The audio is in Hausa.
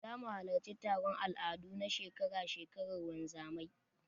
Zamu halarci taron al'adu na shekara-shekarar wanzamai.